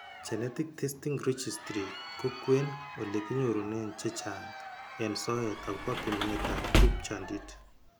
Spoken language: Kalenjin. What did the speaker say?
Genetic Testing Registry ko kwen ole kinyorune chechang' eng' soet akobo pimanetab tupchondit.